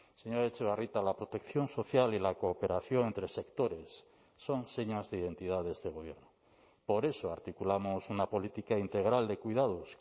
señora etxebarrieta la protección social y la cooperación entre sectores son señas de identidad de este gobierno por eso articulamos una política integral de cuidados